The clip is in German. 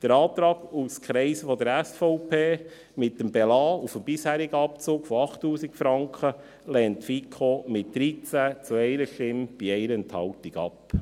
Den Antrag aus Kreisen der SVP mit Belassen des bisherigen Abzugs bei 8000 Franken lehnt die FiKo mit 13 zu 1 Stimme bei 1 Enthaltung ab.